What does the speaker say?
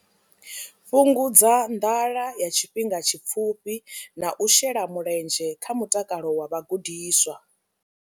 Fhungudza nḓala ya tshifhinga tshipfufhi na u shela mulenzhe kha mutakalo wa vhagudiswa.